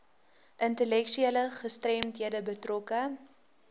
intellektuele gestremdhede betrokke